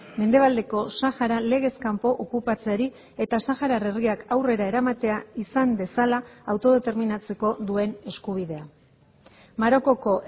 mendebaldeko sahara legez kanpo okupatzeari eta saharar herriak aurrera eramatea izan dezala autodeterminatzeko duen eskubidea marokoko